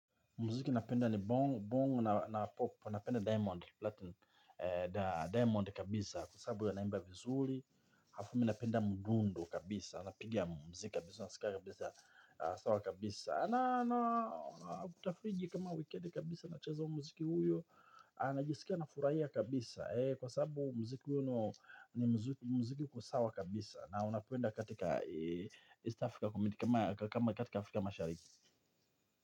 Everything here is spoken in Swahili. Muziki napenda ni bongo, bongo na pop, napenda diamond platinum, diamond kabisa, kwa sababu ya anaimba vizuri, harafu mi napenda mudundo kabisa, napigia muziki kabisa, nasika kabisa, sawa kabisa. Na, na, na, kutafriji kama wikedi kabisa, na chaza muziki huyo, na jisikia na furahia kabisa ee, kwa saabu muziki yuno, ni muziki uko sawa kabisa, na, unapenda katika East Africa community, kama katika Africa mashariki.